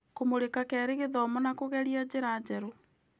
Kũmũrĩka kerĩ gĩthomo na kũgeria njĩra njerũ.